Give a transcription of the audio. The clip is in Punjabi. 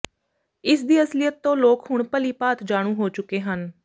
ਇਸਦੀ ਅਸਲੀਅਤ ਤੋਂ ਲੋਕ ਹੁਣ ਭਲੀ ਭਾਂਤ ਜਾਣੂ ਹੋ ਚੁੱਕੇ ਹਨ